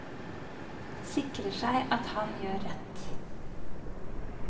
Sikrer seg at han gjør rett.